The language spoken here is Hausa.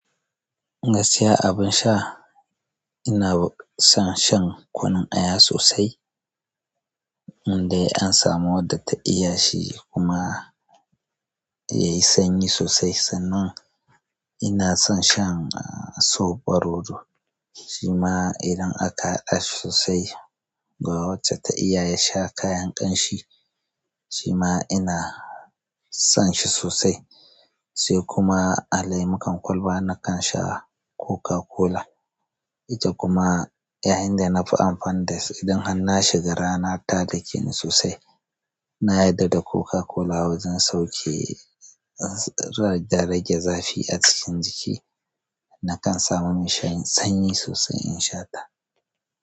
Gaskiya abun sha, ina son shan kunun aya sosai indai an samu wadda ta iya shi kuma yayi sanyi sosai. Sannan ina son shan soɓo rodo. Shima idan aka haɗa shi sosai ga wacce ta iya ya sha kayan ƙamshi. Shima ina son shi sosai. Sai kuma a laimukan kwalba nakan sha Coca-Cola. Ita kuma yayinda nafi amfani da ita idan har nashiga gara na ta da ke ni sosai. Na yarda da Coca-Cola wajen sauke rage zafi a cikin jiki. Nakan samu mashayin sanyi sosai in sha ta.